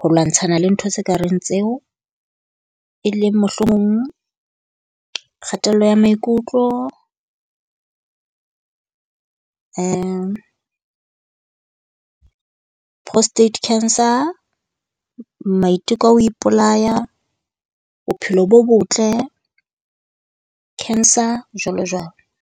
ho lwantshana le ntho tse kareng tseo e leng mohlomong kgatello ya maikutlo, prostate cancer. Maiteko a ho ipolaya, bophelo bo botle, cancer, jwalo jwalo.